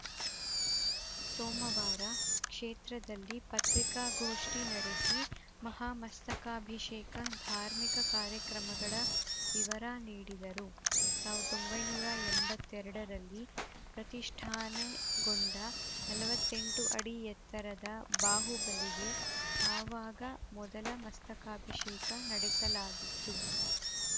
ಸೋಮವಾರ ಕ್ಷೇತ್ರದಲ್ಲಿ ಪತ್ರಿಕಾಗೋಷ್ಠಿ ನಡೆಸಿ ಮಹಾ ಮಸ್ತಕಾಭಿಷೇಕ ಧಾರ್ಮಿಕ ಕಾರ್ಯಕ್ರಮಗಳ ವಿವರ ನೀಡಿದರು ಸಾವಿರದ ಒಂಬೈನೂರ ಎಂಬತ್ತೆರಡರಲ್ಲಿ ಪ್ರತಿಷ್ಠಾನೆಗೊಂಡ ನಲವತ್ತೆಂಟು ಅಡಿ ಎತ್ತರದ ಬಾಹುಬಲಿಗೆ ಆವಾಗ ಮೊದಲ ಮಸ್ತಕಾಭಿಷೇಕ ನಡೆಸಲಾಗಿತ್ತು